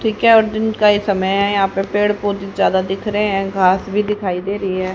ठीक है और दिन का ही समय है यहां पे पेड़ पौधे ज्यादा दिख रहे है घास भी दिखाई दे रही है।